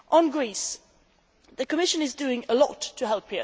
On Greece, the Commission is doing a lot to help.